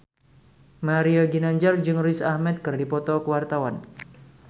Mario Ginanjar jeung Riz Ahmed keur dipoto ku wartawan